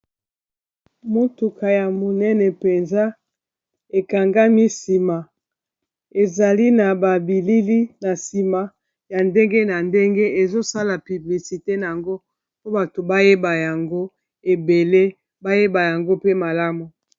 Motuka ya monene mpenza ekangami nsima, ezali na ba bilili na nsima ya ndenge na ndenge. Ezo sala piblisite na yango, mpo bato bayeba yango ebele, bayeba yango pe malamu.